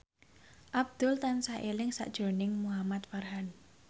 Abdul tansah eling sakjroning Muhamad Farhan